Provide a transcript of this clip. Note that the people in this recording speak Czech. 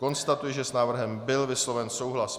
Konstatuji, že s návrhem byl vysloven souhlas.